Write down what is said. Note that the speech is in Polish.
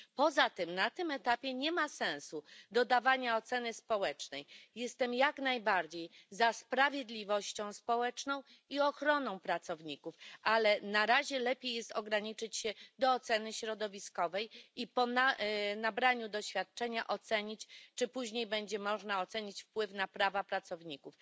Poza tym na tym etapie nie ma sensu dodawanie oceny społecznej. Jestem jak najbardziej za sprawiedliwością społeczną i ochroną pracowników, ale na razie lepiej ograniczyć się do oceny środowiskowej, a dopiero po nabraniu doświadczenia zobaczyć, czy później będzie można ocenić wpływ na prawa pracowników.